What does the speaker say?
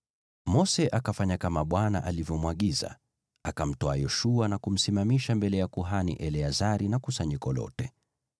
Mose akafanya kama Bwana alivyomwagiza. Akamtwaa Yoshua na kumsimamisha mbele ya kuhani Eleazari na kusanyiko lote.